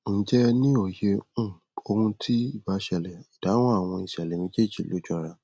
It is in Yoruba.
ǹjẹ ẹ ní òye um ohun tí ì bá ṣẹlẹ ìdáhùn àwọn ìṣẹlẹ méjèejì ló jọra